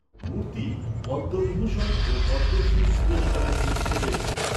মূর্তি পদ্মবিভূষণ ও পদ্মশ্রী পুরস্কারে ভূষিত হয়েছেন।